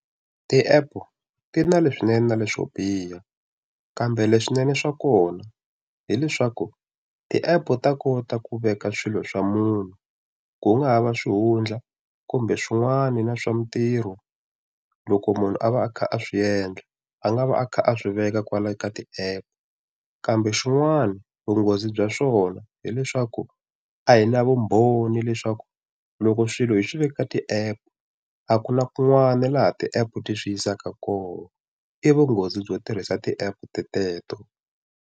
Ti app ti na leswinene na leswo biha kambe leswinene swa kona hileswaku ti app u ta kota ku veka swilo swa munhu ku nga ha va swihundla kumbe swin'wana na swa mintirho loko munhu a va a kha a swi endla a nga va a kha a swi veka kwala ka ti app kambe xin'wana vunghozi bya swona hileswaku a hi na vumbhoni leswaku loko swilo hi swi veke ka ti app a ku na kun'wana laha ti app ti swi yisaka kona i vunghozi byo tirhisa ti app teleto.